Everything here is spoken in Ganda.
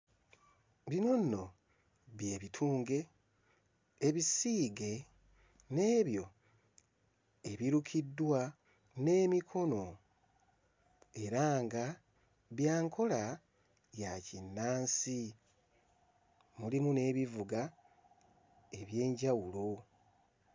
Bino nno by'ebitunge ebisiige n'ebyo ebirukiddwa n'emikono era nga bya nkola ya kinnansi mulimu n'ebivuga eby'enjawulo.